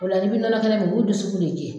O la i bi nɔnɔ kɛnɛ min o be dusukun de jɛ.